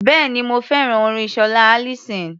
Bẹ́ẹ̀ni, mo fẹ́ràn orin Ṣọlá Allyson.